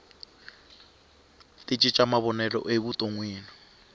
ti cinca mavonelo evutonwini